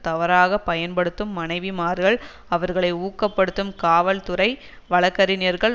தவறாக பயன்படுத்தும் மனைவிமார்கள் அவர்களை ஊக்கப்படுத்தும் காவல்துறை வழக்கறிஞர்கள்